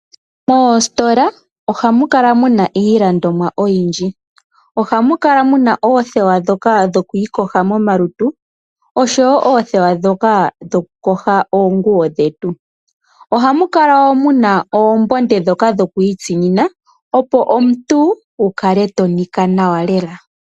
Moositola oha mu kala muna iilandimwa oyindji. Oha mu kala muna oothewa ndhoka dho kwiiyoga komalutu, osho woo oothewa ndhoka dho ku yoga oonguwo dhetu. Oha mu kala muna oombonde ndhoka dho ku itsinina, opo omuntu wu kale to nika nawa lela.